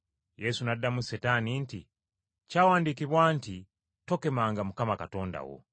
Yesu n’addamu Setaani nti, “Kyawandiikibwa nti, ‘Tokemanga Mukama Katonda wo.’ ”